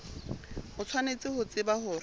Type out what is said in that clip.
o tshwanetse ho tseba hore